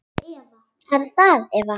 Það er Eva.